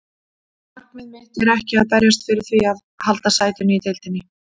Markmið mitt er ekki að berjast fyrir því að halda sætinu í deildinni.